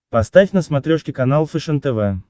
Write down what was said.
поставь на смотрешке канал фэшен тв